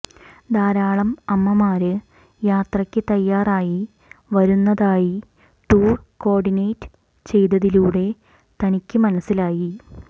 ധാരാളം അമ്മമാര് യാത്രക്ക് തയ്യാറായി വരുന്നതായി ടൂര് കോര്ഡിനേറ്റ് ചെയ്തതിലൂടെ തനിക്ക് മനസ്സിലായി